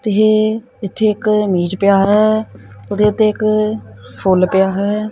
ਤੇ ਇਹ ਇਥੇ ਇੱਕ ਮੇਜ ਪਿਆ ਹੈ ਉਹਦੇ ਉੱਤੇ ਇੱਕ ਫੁੱਲ ਪਿਆ ਹੈ।